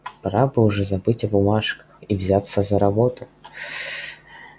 пора бы уже забыть о бумажках и взяться за работу